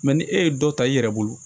ni e ye dɔ ta i yɛrɛ bolo